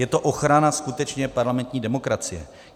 Je to ochrana skutečně parlamentní demokracie.